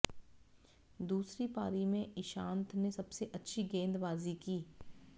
दूसरी पारी में ईशांत ने सबसे अच्छी गेंदबाजी की